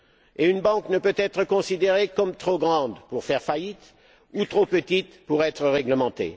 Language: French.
Et une banque ne peut être considérée comme trop grande pour faire faillite ou trop petite pour être réglementée.